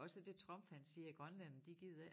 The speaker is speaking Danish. Også det Trump han siger grønlænderne de gider ikke